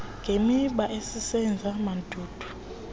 ngemiba ezisenza mandundu